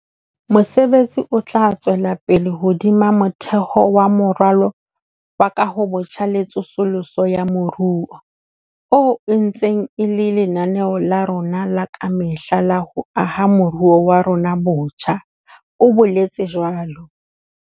Mosebetsi ona o tla tswela pele hodima motheo wa Moralo wa Kahobotjha le Tsosoloso ya Moruo, oo e ntseng e le lenaneo la rona la ka mehla la ho aha moruo wa rona botjha, o boletse jwalo.